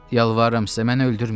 Yalvarıram sizə, məni öldürməyin.